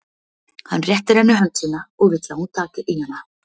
Hann réttir henni hönd sína og vill að hún taki í hana.